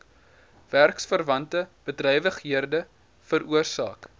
werksverwante bedrywighede veroorsaak